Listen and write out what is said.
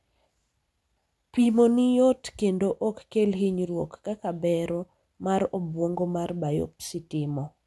pimoni yot kendo ok kel hinyruok kaka bero mar obwongo mar biopsy timo